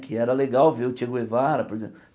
Que era legal ver o Che Guevara por exemplo.